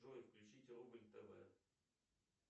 джой включите рубль тв